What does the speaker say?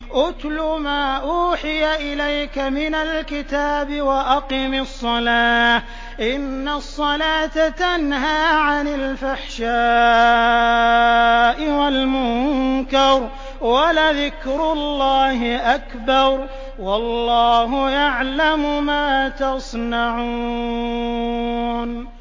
اتْلُ مَا أُوحِيَ إِلَيْكَ مِنَ الْكِتَابِ وَأَقِمِ الصَّلَاةَ ۖ إِنَّ الصَّلَاةَ تَنْهَىٰ عَنِ الْفَحْشَاءِ وَالْمُنكَرِ ۗ وَلَذِكْرُ اللَّهِ أَكْبَرُ ۗ وَاللَّهُ يَعْلَمُ مَا تَصْنَعُونَ